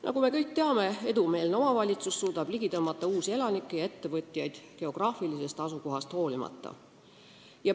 Nagu me kõik teame, edumeelne omavalitsus suudab ligi tõmmata uusi elanikke ja ettevõtjaid geograafilisest asukohast hoolimata.